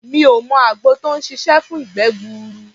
Mi ò mọ àgbo tó ń ṣiṣé fún ìgbẹ́ gbuuru.